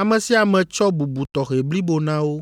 ame sia ame tsɔ bubu tɔxɛ blibo na wo.